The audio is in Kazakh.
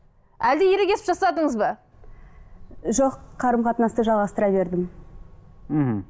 әлде ерегесіп жасадыңыз ба жоқ қарым қатынасты жалғастыра бердім мхм